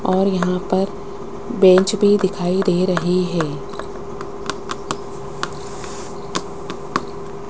और यहां पर बेंच भी दिखाई दे रही है।